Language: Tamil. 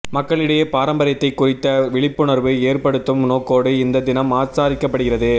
மக்களிடையே பாரம்பரியத்தை குறித்த விழிப்புணர்வு ஏற்ப்படுத்தும் நோக்கோடு இந்த தினம் ஆசாரிக்கப்படுகிறது